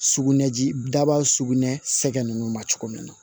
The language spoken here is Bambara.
Sugunɛji daba sugunɛ sɛgɛn nunnu ma cogo min na